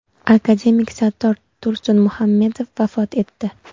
Akademik Sattor Tursunmuhammedov vafot etdi.